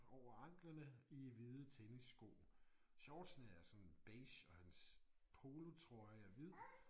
Over anklerne i hvide tennissko. Shortsene er sådan beige og hans polotrøje er hvid